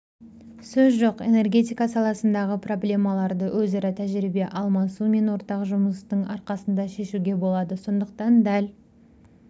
сөз жоқ энергетика саласындағы проблемаларды өзара тәжірибе алмасу мен ортақ жұмыстың арқасында шешуге болады сондықтан дәл